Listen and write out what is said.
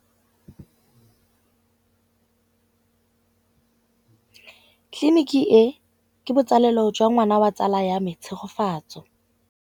Tleliniki e, ke botsalêlô jwa ngwana wa tsala ya me Tshegofatso.